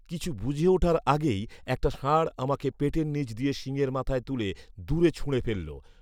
কিছু বুঝে ওঠার আগেই একটা ষাঁঢ় আমাকে পেটের নীচ দিয়ে শিংয়ের মাথায় তুলে দূরে ছুঁড়ে ফেললো